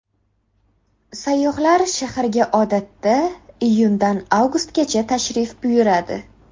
Sayyohlar shaharga odatda iyundan avgustgacha tashrif buyuradi.